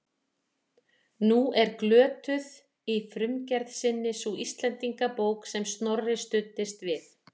Nú er glötuð í frumgerð sinni sú Íslendingabók sem Snorri studdist við.